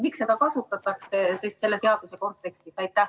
Miks seda kasutatakse selle seaduseelnõu kontekstis?